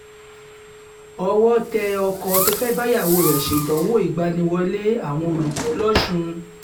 owó tẹ ọkọ tó fẹ́ẹ́ báyàwó rẹ̀ ṣèdánwò ìgbaniwọlé àwọn olùkọ́ lọ́sùn